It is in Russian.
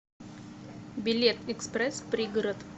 билет экспресс пригород